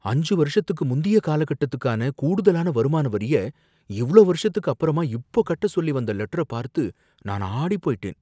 அஞ்சு வருஷத்துக்கு முந்திய காலகட்டத்துக்கான கூடுதலான வருமான வரிய, இவளோ வருஷத்துக்கு அப்புறமா இப்போ கட்ட சொலி வந்த லெட்டர பார்த்து நான் ஆடிப்போய்ட்டேன்.